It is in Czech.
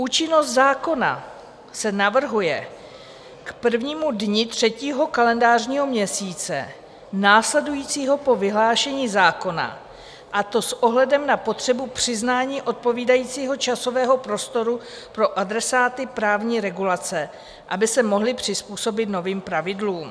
Účinnost zákona se navrhuje k prvnímu dni třetího kalendářního měsíce následujícího po vyhlášení zákona, a to s ohledem na potřebu přiznání odpovídajícího časového prostoru pro adresáty právní regulace, aby se mohli přizpůsobit novým pravidlům.